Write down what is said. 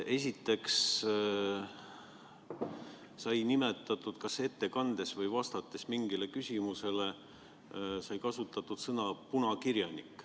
Esiteks, kas ettekandes või vastates mingile küsimusele sai kasutatud sõna "punakirjanik".